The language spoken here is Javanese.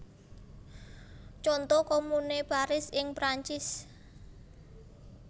Conto Komune Paris ing Prancis